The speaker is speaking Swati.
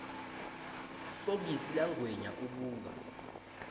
fokisi langwenya ubuka